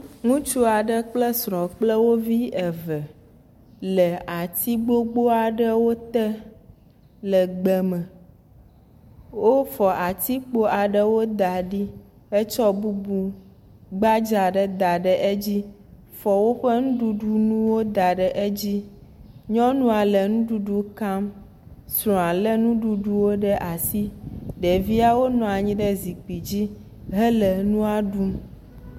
Ŋutsu aɖe kple srɔ̃ kple wovi eve le ati gbogbo aɖewo te le gbeme. Wofɔ atikpo aɖewo da ɖi hetsɔ bubu gbadza aɖe da ɖe edzi fɔ woƒe nuɖuɖu wo da ɖe edzi. Nyɔnua le nuɖuɖu kam. Srɔ̃a lé nuɖuɖuwo ɖe asi. Ɖeviawo nɔ anyi ɖe zikpui dzi hele nua ɖum.